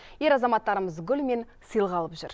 ер азаматтарымыз гүл мен сыйлық алып жүр